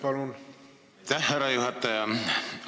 Aitäh, härra juhataja!